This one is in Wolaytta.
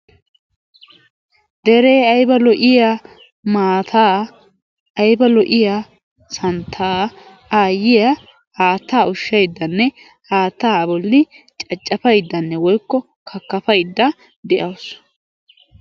Deree ayba lo''iya maataa, ayba lo''iya santtaa aayyiya haattaa ushshayddanne, haattaa a bolli caccafayddanne woykko kakkapaydda de'awusu.